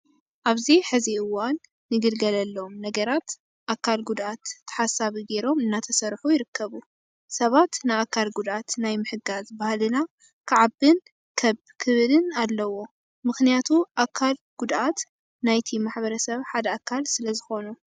ኣብዚ ሕዚ እዋን ንግልገለሎም ነገራት ኣካል ጉድኣት ተሓሳቢ ገይሮም እናተሰርሑ ይርከቡ። ሰባት ንኣካል ጉድኣት ናይ ምሕጋዝ ባህልና ክዓብን ከብ ክብልን ኣለዎ። ምክንያቱ ኣካል ጎጉድኣት ናይቲ ሕብረተሰብ ሓደ ኣካል ስለዝኾኑ።